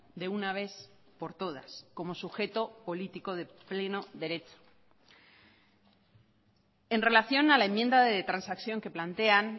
de una vez por todas como sujeto político de pleno derecho en relación a la enmienda de transacción que plantean